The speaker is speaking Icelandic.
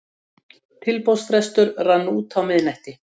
Verði vilji þinn svo sem á himni og á jörðu.